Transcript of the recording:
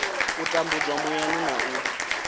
u tambudzwa muyani na u